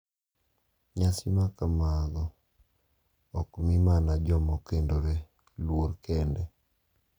Nyasi makamago ok mi mana joma okendore luor kende .